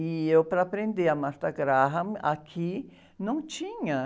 E eu, para aprender a, aqui, não tinha.